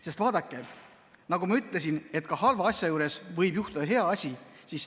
Sest vaadake, nagu ma ütlesin, ka halva asja juures võib juhtuda hea asi.